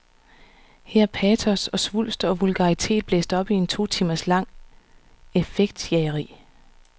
Her er patos og svulst og vulgaritet blæst op i et totimers langt effektjageri.